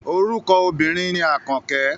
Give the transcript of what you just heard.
Orúkọ obìnrin ni Àkànkẹ́.